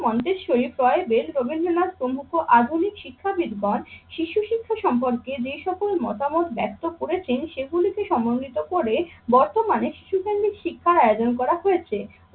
মন্ত্রে শরীফ ক্রয় বেল রবীন্দ্রনাথ প্রমুখ আধুনিক শিক্ষাবিদ গণ শিশু শিক্ষা সম্পর্কে যে সকল মতামত ব্যাখ্যা করেছেন সেগুলিকে সমন্বিত করে বর্তমানে শিশু কেন্দ্রিক শিক্ষার আয়োজন করা হয়েছে।